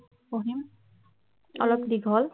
পঢ়িম অলপ দীঘল